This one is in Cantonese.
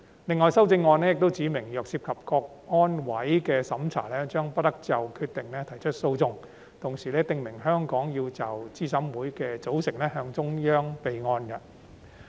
另外修正案又指明，若涉及香港國安委的審查，將不得就決定提出訴訟，同時訂明香港要就資審會組成向中央政府備案。